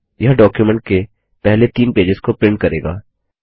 यह डॉक्युमेंट के पहले तीन पेजेस को प्रिंट करेगा